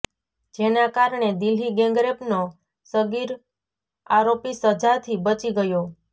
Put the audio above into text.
જેના કારણે દિલ્હી ગેંગરેપનો સગીર આરોપી સજાથી બચી ગયો